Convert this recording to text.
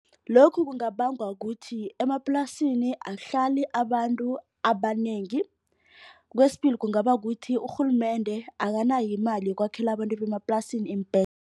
Lokhu kungabangwa kuthi emaplasini akuhlali abantu abanengi. Kwesibili kungaba kukuthi urhulumende akanayo imali yokwakhelwa abantu bemaplasini